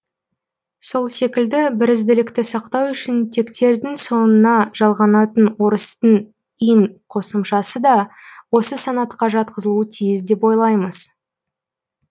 сол секілді бірізділікті сақтау үшін тектердің соңына жалғанатын орыстың ин қосымшасы да осы санатқа жатқызылуы тиіс деп ойлаймыз